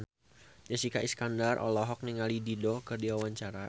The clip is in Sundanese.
Jessica Iskandar olohok ningali Dido keur diwawancara